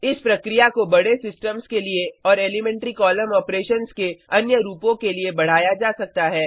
इस प्रक्रिया को बड़े सिस्टम्स के लिए और एलीमेंट्री कॉलम ऑपरेशन्स के अन्य रूपों के लिए बढ़ाया जा सकता है